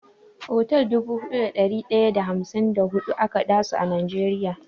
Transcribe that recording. Otal dubu huɗu da ɗari ɗaya da hamsin da huɗu ake dasu a Najeriya.